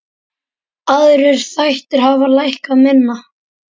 Aðrir þættir hafa lækkað minna.